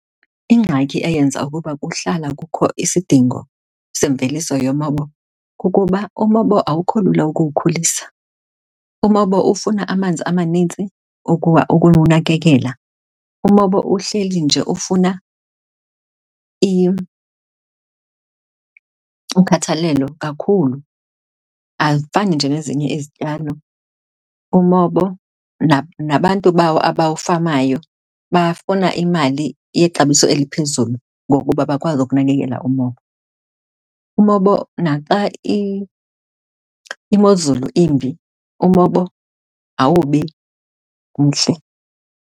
Ingxaki eyenza ukuba kuhlala kukho isidingo semveliso yemobo kukuba umobo awukho lula ukuwukhulisa. Umobo ufuna amanzi amanintsi ukuwa, ukuwunakekela. Umobo uhleli nje ufuna ukhathalelo kakhulu, azifani nje nezinye izityalo. Umobo nabantu bawo abawufamayo bafuna imali yexabiso eliphezulu ngokuba bakwazi ukunakekela umobo. Umobo, naxa imozulu imbi umobo awubi mhle.